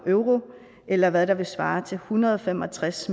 euro eller hvad der svarer til en hundrede og fem og tres